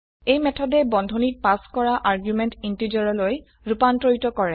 এই মেথডে বন্ধনীত পাস কৰা আৰ্গুমেন্ট ইন্টিজাৰলৈ ৰুপান্তৰিত কৰে